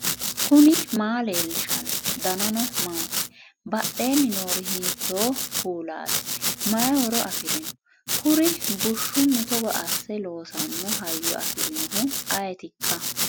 knuni maa leellishanno ? danano maati ? badheenni noori hiitto kuulaati ? mayi horo afirino ? kuri bushshunni togo asse loosanno hayyo afirinohu ayetikka